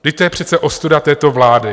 Vždyť to je přece ostuda této vlády!